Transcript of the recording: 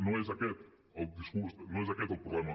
no és aquest el discurs no és aquest el problema